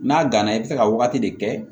N'a gana i bɛ se ka wagati de kɛ